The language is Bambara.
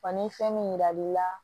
Wa ni fɛn min yiral'i la